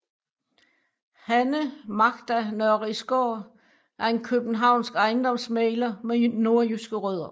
Hanne Magda Nørrisgaard er en københavnsk ejendomsmægler med nordjyske rødder